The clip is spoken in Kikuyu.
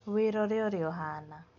Wĩrore ũrĩa ũhana.